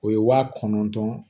O ye wa kɔnɔntɔn